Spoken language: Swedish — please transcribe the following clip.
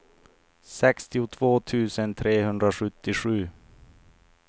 sextiotvå tusen trehundrasjuttiosju